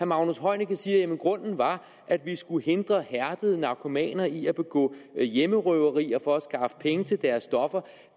magnus heunicke siger jamen grunden var at vi skulle hindre hærdede narkomaner i at begå hjemmerøverier for at skaffe penge til deres stoffer